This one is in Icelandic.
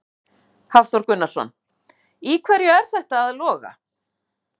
Hafþór Gunnarsson: Í hverju er þetta að loga?